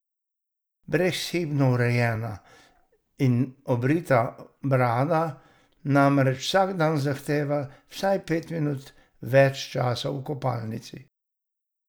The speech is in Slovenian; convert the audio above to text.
Brezhibno urejena in obrita brada namreč vsak dan zahteva vsaj pet minut več časa v kopalnici.